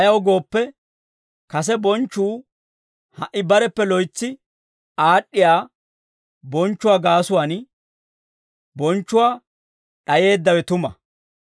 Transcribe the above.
Ayaw gooppe, kase bonchchuu ha"i bareppe loytsi aad'd'iyaa bonchchuwaa gaasuwaan bonchchuwaa d'ayeeddawe tuma.